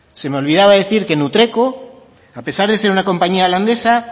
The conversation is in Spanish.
se me olvidaba decir que nutreco a pesar de ser una compañía holandesa